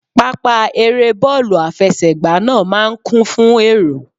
Pápá eré bọ́ọ̀lù àfẹsẹ̀gbá náà máa ń kún fún èrò